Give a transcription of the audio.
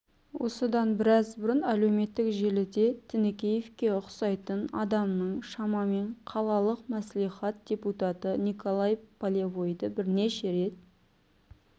осыдан біраз бұрын әлеуметтік желіде тінікеевке ұқсайтын адамның шамамен қалалық маслихат депутаты николай полевойды бірнеше рет